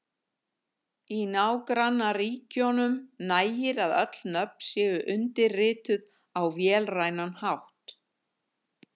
Í nágrannaríkjunum nægir að öll nöfn séu undirrituð á vélrænan hátt.